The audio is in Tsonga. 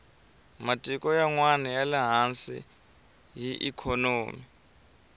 matiko yanwani yale hansi hi ikhonomi